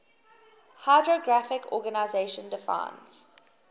hydrographic organization defines